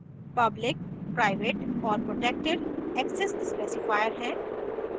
public private और protected access specifier हैं